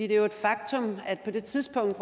det er jo et faktum at på det tidspunkt